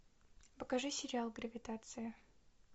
покажи сериал гравитация